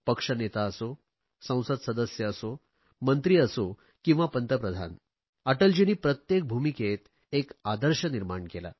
पक्ष नेता असो संसद सदस्य असो मंत्री असो किंवा पंतप्रधान अटलजींनी प्रत्येक भूमिकेत एक आदर्श निर्माण केला